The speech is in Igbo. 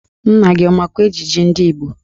Nna gị ọ makwa ejiji ndị Igbo?